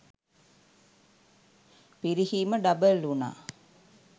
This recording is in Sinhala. පිරිහීම ඩබල් උනා.